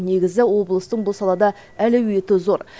негізі облыстың бұл салада әлеуеті зор